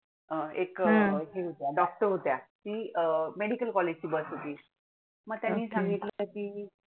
मग त्यांनी सांगितले की